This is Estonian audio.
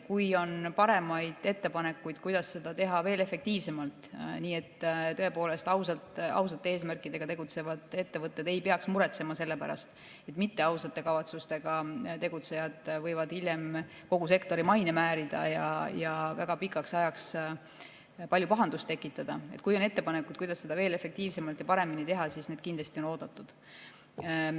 Kui on paremaid ettepanekuid, kuidas seda teha veel efektiivsemalt, nii et tõepoolest ausate eesmärkidega tegutsevad ettevõtted ei peaks muretsema selle pärast, et mitteausate kavatsustega tegutsejad võivad hiljem kogu sektori maine määrida ja väga pikaks ajaks palju pahandust tekitada, kui on selliseid ettepanekuid, kuidas seda veel efektiivsemalt ja paremini teha, siis need on kindlasti oodatud.